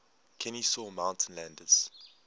kenesaw mountain landis